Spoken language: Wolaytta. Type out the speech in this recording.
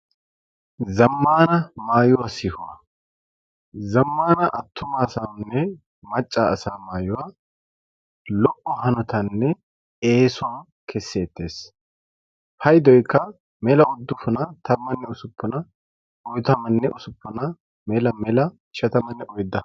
zammana maayuwaa sihuwaa zammana attumaasaanne macca asa maayuwaa lo"o hanotanne eesuwaa kesseettees. paydoykka mela uddufuna tammanne usuppuna oytamanne usuppuna mela mela ishatamanne oydda.